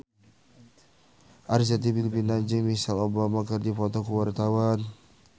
Arzetti Bilbina jeung Michelle Obama keur dipoto ku wartawan